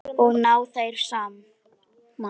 Og ná þeir saman?